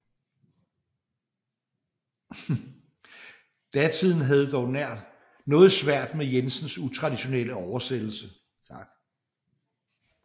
Datiden havde dog noget svært med Jensens utraditionelle oversættelse